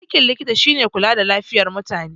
Aikin likita shine kula da lafiyar mutane